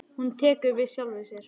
Hún tekur við sjálfri sér.